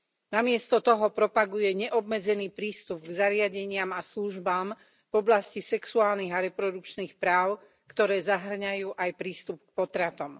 Namiesto toho propaguje neobmedzený prístup k zariadeniam a službám v oblasti sexuálnych a reprodukčných práv, ktoré zahŕňajú aj prístup k potratom.